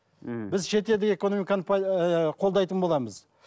ммм біз шетел экономиканы ыыы қолдайтын боламыз